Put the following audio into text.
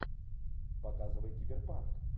показывай киберпанк